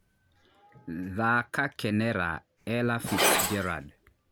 thaaka kenera ella fitzgerald